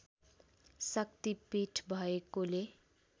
शक्ति पीठ भएकोले